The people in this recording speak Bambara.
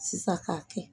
Sisan k'a kɛ